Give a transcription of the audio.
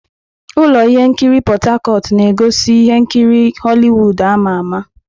Ụlọ ihe nkiri Port Harcourt na-egosi ihe nkiri Holiwud ama ama.